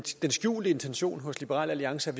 skjulte intention hos liberal alliance er